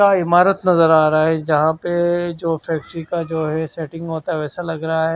का इमारत नजर आ रहा है जहां पे जो फैक्ट्री का जो है सेटिंग होता है वैसा लग रहा है।